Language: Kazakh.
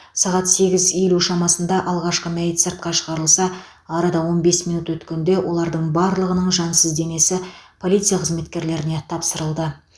сағат сегіз елу шамасында алғашқы мәйіт сыртқа шығарылса арада он бес минут өткенде олардың барлығының жансыз денесі полиция қызметкерлеріне тапсырылды